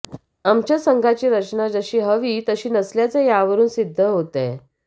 आमच्या संघाची रचना जशी हवी तशी नसल्याचं यावरून सिद्ध होतंय